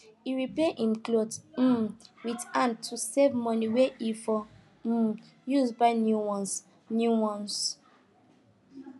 he repair him clothes um with hand to save money wey he for um use buy new ones new ones